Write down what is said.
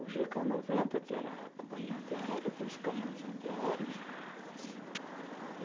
O gê ca noventa , que era a companhia antiaérea, tinha os canhões antiaéreos.